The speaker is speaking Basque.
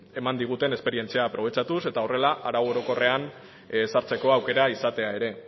eman diguten esperientzia aprobetxatuz eta horrela arau orokorrean ezartzeko aukera izatea ere